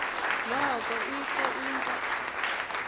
noko ikho into